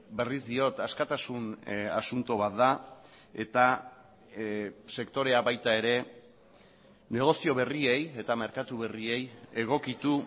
berriz diot askatasun asunto bat da eta sektorea baita ere negozio berriei eta merkatu berriei egokitu